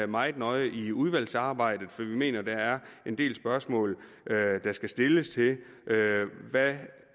meget nøje i udvalgsarbejdet for vi mener der er en del spørgsmål der skal stilles til hvad det